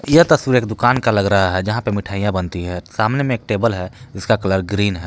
यह तस्वीर एक दुकान का लग रहा है यहां पे मिठाईयां बनती है सामने में एक टेबल है इसका कलर ग्रीन है।